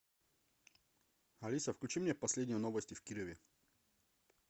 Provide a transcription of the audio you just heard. алиса включи мне последние новости в кирове